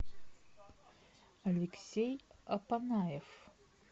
алексей апанаев